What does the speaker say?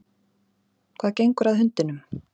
Hvað gengur að hundinum?